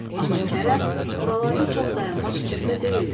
Amma Kərəm buralarda çox dayanmaq fikrində deyildi.